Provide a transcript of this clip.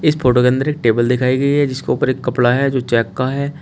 इस फोटो के अंदर एक टेबल दिखाई गई है जिसके ऊपर एक कपड़ा है जो चेक का है।